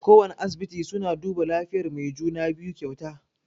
Kowana asibiti suna duba lafiyan mai juna-biyu kyauta.